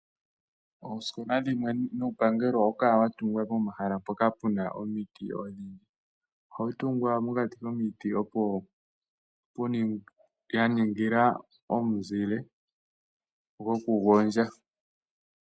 Oosikola dhimwe nuupangelo ohawu kala wa tungwa pomahala mpoka pu na omiti odhindji. Ohawu tungwa mokati komiti ya ningila omuzile gokugondja.